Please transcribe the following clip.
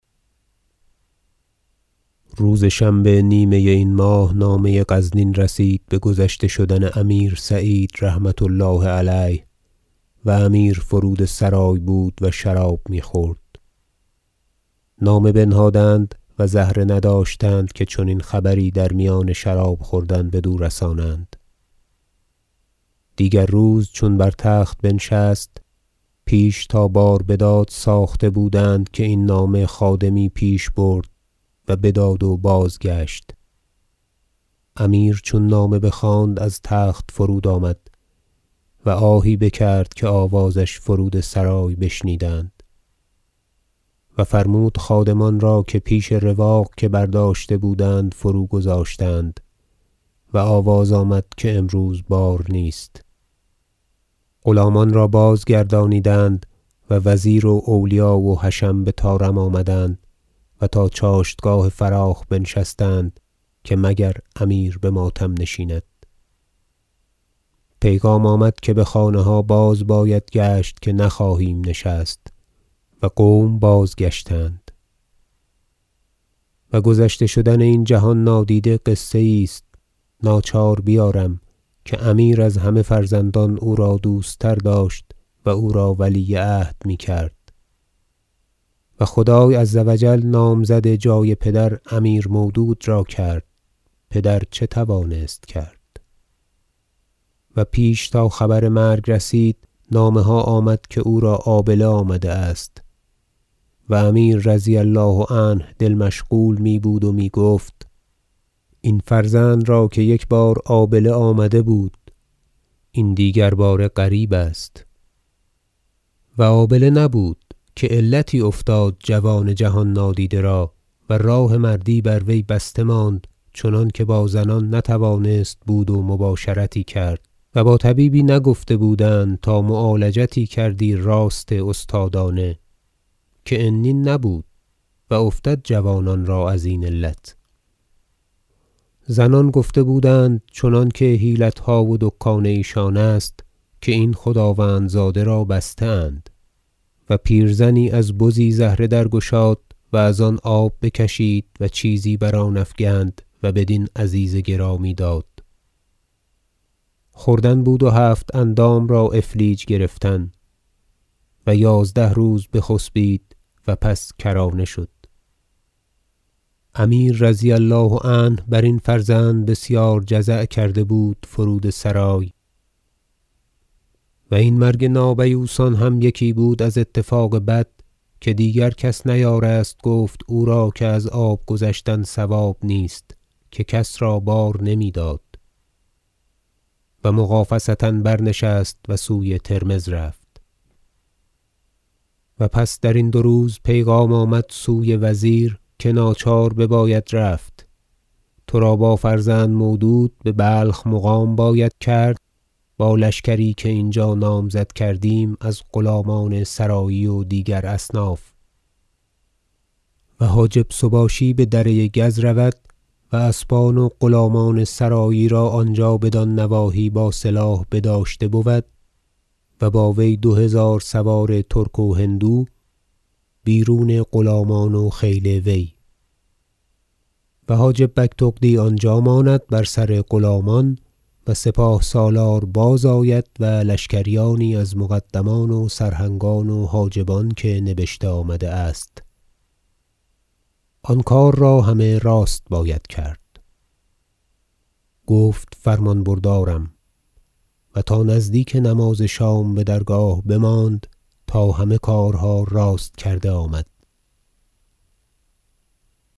روز شنبه نیمه این ماه نامه غزنین رسید بگذشته شدن امیر سعید رحمة الله علیه و امیر فرودسرای بود و شراب میخورد نامه بنهادند و زهره نداشتند که چنین خبری در میان شراب خوردن بدو رسانند دیگر روز چون بر تخت بنشست پیش تا بار بداد ساخته بودند که این نامه خادمی پیش برد و بداد و بازگشت امیر چون نامه بخواند از تخت فرود آمد و آهی بکرد که آوازش فرود سرای بشنیدند و فرمود خادمان را که پیش رواق که برداشته بودند فروگذاشتند و آواز آمد که امروز بار نیست غلامان را بازگردانیدند و وزیر و اولیا و حشم بطارم آمدند و تا چاشتگاه فراخ بنشستند که مگر امیر بماتم نشیند پیغام آمد که بخانه ها باز باید گشت که نخواهیم نشست و قوم بازگشتند و گذشته شدن این جهان نادیده قصه یی است ناچار بیارم که امیر از همه فرزندان او را دوست تر داشت و او را ولی عهد میکرد و خدای عز و جل نامزد جای پدر امیر مودود را کرد پدر چه توانست کرد و پیش تا خبر مرگ رسید نامه ها آمد که او را آبله آمده است و امیر رضی الله عنه دل مشغول می بود و میگفت این فرزند را که یک بار آبله آمده بود این دیگر باره غریب است و آبله نبود که علتی افتاد جوان جهان نادیده را و راه مردی بر وی بسته ماند چنانکه با زنان نتوانست بود و مباشرتی کرد و با طبیبی نگفته بودند تا معالجتی کردی راست استادانه که عنین نبود و افتد جوانان را ازین علت زنان گفته بودند چنانکه حیلتها و دکان ایشان است که این خداوند زاده را بسته اند و پیرزنی از بزی زهره درگشاد و از آن آب بکشید و چیزی بر آن افگند و بدین عزیز گرامی داد خوردن بود و هفت اندام را افلیج گرفتن و یازده روز بخسبید و پس کرانه شد امیر رضی الله عنه برین فرزند بسیار جزع کرده بود فرود سرای و این مرگ نابیوسان هم یکی بود از اتفاق بد که دیگر کس نیارست گفت او را که از آب گذشتن صواب نیست که کس را بار نمیداد و مغافصه برنشست و سوی ترمذ رفت و پس درین دو روز پیغام آمد سوی وزیر که ناچار بباید رفت ترا با فرزند مودود ببلخ مقام باید کرد با لشکری که اینجا نامزد کردیم از غلامان سرایی و دیگر اصناف و حاجب سباشی بدره گز رود و اسبان و غلامان سرایی را آنجا بدان نواحی با سلاح بداشته بود و با وی دو هزار سوار ترک و هندو بیرون غلامان و خیل وی و حاجب بگتغدی آنجا ماند بر سر غلامان و سپاه سالار باز آمد و لشکریانی از مقدمان و سرهنگان و حاجبان که نبشته آمده است آن کار را همه راست باید کرد گفت فرمان بردارم و تا نزدیک نماز شام بدرگاه بماند تا همه کارها راست کرده آمد